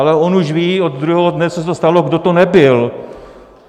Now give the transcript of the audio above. Ale on už ví od druhého dne, co se to stalo, kdo to nebyl.